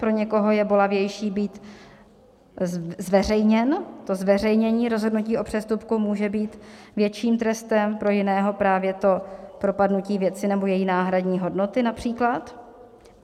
Pro někoho je bolavější být zveřejněn, to zveřejnění rozhodnutí o přestupku může být větším trestem, pro jiného právě to propadnutí věci nebo její náhradní hodnoty například.